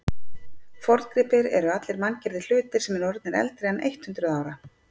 forngripir eru allir manngerðir hlutir sem eru orðnir eldri en eitt hundruð ára